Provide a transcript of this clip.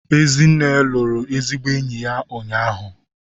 Ezinne lụrụ ezigbo enyi ya ụnyahụ.